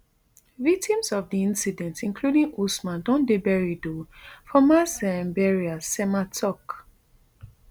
victims of di incident including usman don dey buried um for mass um burial nsema tok